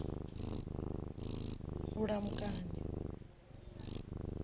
vhulamukanyi